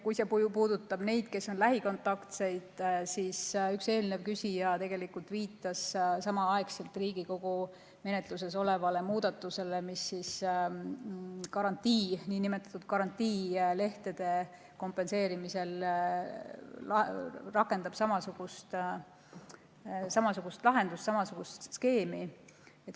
Kui see küsimus puudutab neid, kes on lähikontaktsed, siis üks eelnev küsija viitas samaaegselt Riigikogu menetluses olevale muudatusele, mis niinimetatud karantiinilehtede kompenseerimisel rakendab samasugust lahendust, samasugust skeemi.